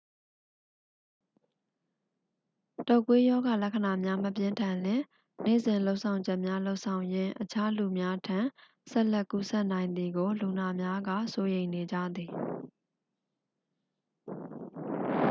တုပ်ကွေး ရောဂါလက္ခဏာများ မပြင်းထန်လျှင် နေ့စဉ်လုပ်ဆောင်ချက်များ လုပ်ဆောင်ရင်း အခြားလူများထံ ဆက်လက်ကူးစက်နိုင်သည်ကို လူနာများက စိုးရိမ်နေကြသည်